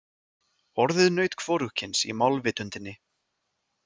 Orðið naut er hvorugkyns í málvitundinni.